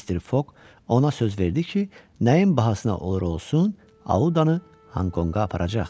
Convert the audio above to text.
Mister Foq ona söz verdi ki, nəyin bahasına olur olsun, Audanı Honkonqa aparacaq.